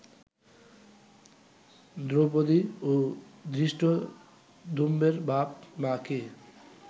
দ্রৌপদী ও ধৃষ্টদ্যুম্নের বাপ মা কে